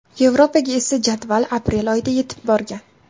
Yevropaga esa jadval aprel oyida yetib borgan.